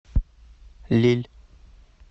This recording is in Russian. лилль